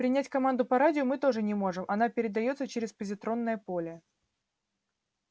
принять команду по радио мы тоже не можем она передаётся через позитронное поле